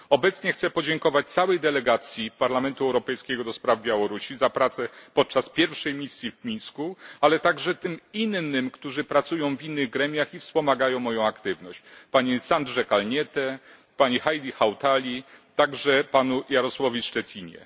Obecnie chcę podziękować całej delegacji Parlamentu Europejskiego do spraw Białorusi za pracę podczas pierwszej misji w Mińsku, a także innym osobom, które pracują w innych gremiach i wspomagają moją aktywność panie Sandrze Kalniete, pani Heidi Hautali, a także panu Jaromírowi Štětinie.